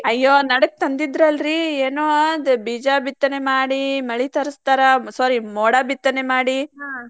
ಅಯ್ಯೋ ನಡಕ್ ತಂದಿದ್ರಲ್ರಿ ಏನೋ ಬೀಜ ಬಿತ್ತನೆ ಮಾಡಿ ಮಳಿ ತರಸ್ತಾರ. sorry ಮೋಡ ಬಿತ್ತನೆ ಮಾಡಿ.